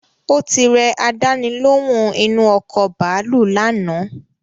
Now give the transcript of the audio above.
Ó ti rẹ àdáni lóhùn inu ọkọ̀ bàálù lánàá